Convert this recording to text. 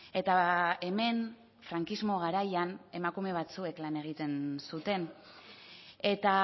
eta hemen frankismo garaian emakume batzuek lan egiten zuten eta